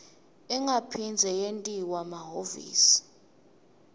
ingaphindze yentiwa emahhovisi